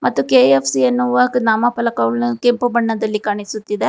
ಮತ್ತು ಕೆ_ಎಫ್_ಸಿ ಎನ್ನುವ ನಾಮಫಲವು ಕೆಂಪು ಬಣ್ಣದಲ್ಲಿ ಕಾಣಿಸುತ್ತಿದೆ.